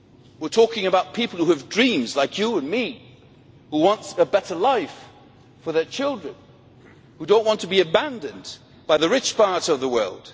We are talking about people who have dreams like you and me who want a better life for their children and who do not want to be abandoned by the rich part of the world.